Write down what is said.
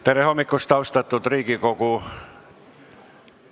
Tere hommikust, austatud Riigikogu!